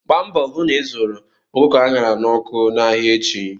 Gba mbọ hu na ị zụrụ ọkụkọ a ṅara n'ọkụ n'ahịa echi!